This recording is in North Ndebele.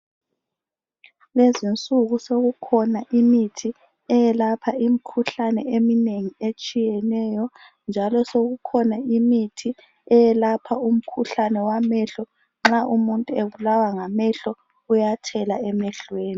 Lezinsuku sokukhona imithi eyelapha imkhuhlane eminengi etshiyeneyo njalo sokukhona imithi eyelapha umkhuhlane wamehlo .Nxa umuntu ebulawa ngamehlo uyathela emehlweni .